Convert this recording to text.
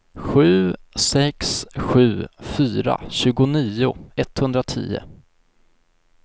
sju sex sju fyra tjugonio etthundratio